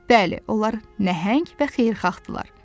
Bəli, onlar nəhəng və xeyirxahdırlar.